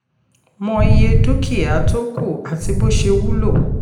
mọ iye dúkìá iye tó kù àti bó ṣe wúlò.